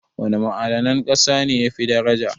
Wana ma'adanan ƙasa ne yafi daraja?